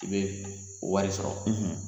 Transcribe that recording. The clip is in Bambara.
I be wari sɔrɔ